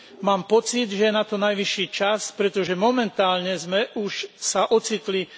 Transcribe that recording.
Mám pocit, že je na to najvyšší čas, pretože momentálne sme sa už ocitli za hranicami mnohých limitov.